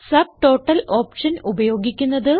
subtotal option ഉപയോഗിക്കുന്നത്